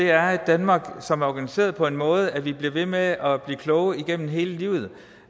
er et danmark som er organiseret på den måde at vi bliver ved med at blive klogere igennem hele livet